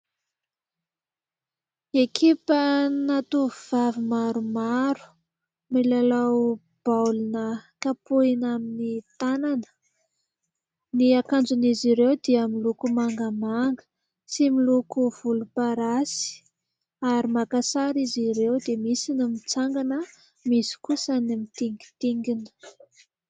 Ekipana tovovavy maromaro, milalao baolina kapohina amin'ny tanana, ny akanjon' izy ireo dia miloko mangamanga sy miloko volomparasy ary maka sary izy ireo, dia misy ny mitsangana, misy kosa ny mitingitingina.